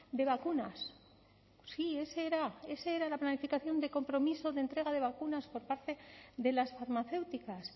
de vacunas sí ese era era la planificación de compromiso de entrega de vacunas por parte de las farmacéuticas